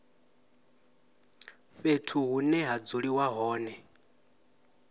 fhethu hune ha dzuliwa hone